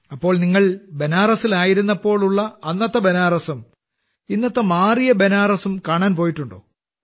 അപ്പോൾ നിങ്ങൾ ബനാറസിൽ ആയിരുന്നപ്പോൾ ഉള്ള അന്നത്തെ ബനാറസും ഇന്നത്തെ മാറിയ ബനാറസും കാണാൻ പോയിട്ടുണ്ടോ